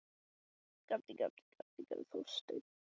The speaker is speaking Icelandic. Og Þorsteinn leit með hraði undan augum Júlíu.